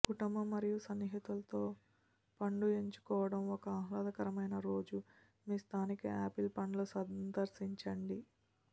కుటుంబం మరియు స్నేహితులతో పండు ఎంచుకోవడం ఒక ఆహ్లాదకరమైన రోజు మీ స్థానిక ఆపిల్ పండ్ల సందర్శించండి